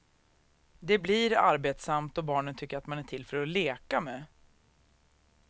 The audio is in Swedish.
Det blir arbetsamt då barnen tycker att man är till för att leka med.